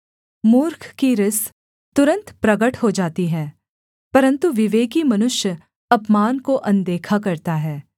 मूर्ख की रिस तुरन्त प्रगट हो जाती है परन्तु विवेकी मनुष्य अपमान को अनदेखा करता है